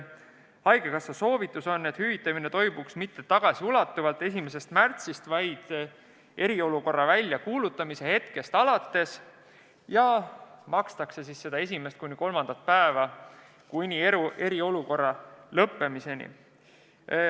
Haigekassa soovitus on selline, et hüvitamine toimuks mitte tagasiulatuvalt 1. märtsist, vaid eriolukorra väljakuulutamise hetkest alates ning esimene kuni kolmas haiguspäev makstakse välja kuni eriolukorra lõppemiseni.